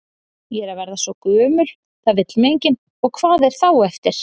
Ég er að verða svo gömul, það vill mig enginn, og hvað er þá eftir?